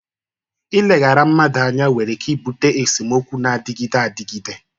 Ileghara mmadụ anya nwere ike ibute esemokwu na-adịgide adịgide.